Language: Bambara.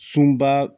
Sunba